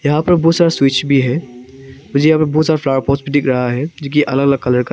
यहां पर बहुत सारा स्विच भी है मुझे यहां पर बहुत सारा फ्लावर पॉट्स भी दिख रहा है जो कि अलग अलग कलर का--